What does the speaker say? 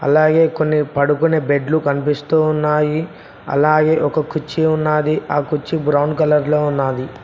అలాగే కొన్ని పడుకునే బెడ్లు కనిపిస్తున్నాయి అలాగే ఒక కుర్చీ ఉన్నది ఆ కుర్చీ బ్రౌన్ కలర్ లో ఉన్నది.